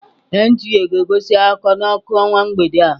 NTA ga-egosi akụkọ n'ọkụ ọnwa mgbede a.